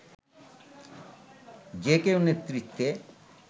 যে কেউ নেতৃত্বে